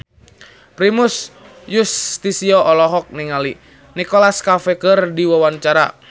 Primus Yustisio olohok ningali Nicholas Cafe keur diwawancara